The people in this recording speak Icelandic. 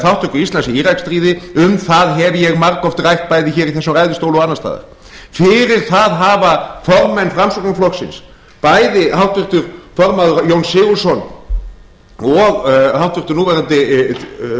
þátttöku íslands í íraksstríðið um það hef ég margoft rætt bæði hér í þessum ræðustóli og annars staðar fyrir það hafa formenn framsóknarflokksins bæði háttvirtur formaður jón sigurðsson og háttvirtur núverandi